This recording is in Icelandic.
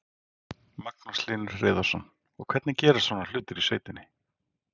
Magnús Hlynur Hreiðarsson: Og hvernig gerast svona hlutir í sveitinni?